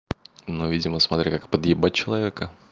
но видимо смотря как подъебать человека